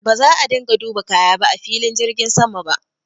Ba za a dinga duba kaya ba a filin jirgin sama ba.